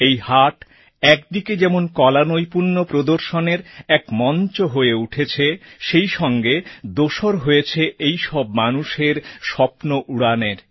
এই হাট একদিকে যেমন কলানৈপুণ্য প্রদর্শনের এক মঞ্চ হয়ে উঠেছে সেই সঙ্গে দোসর হয়েছে এই সব মানুষের স্বপ্ন উড়ানের